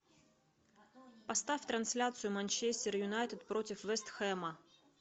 поставь трансляцию манчестер юнайтед против вест хэма